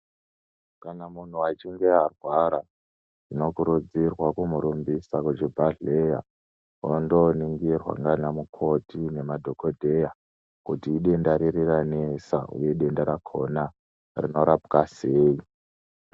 Kana munhu echinge arwara unokurudzirwa kumurumbisa kuchibhehleya wondoningirwa ndiana mukoti nemadhokodheya kuti idenda riri ranesa uye denda rakona rinorapwa sei?